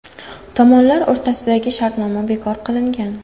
Tomonlar o‘rtasidagi shartnoma bekor qilingan.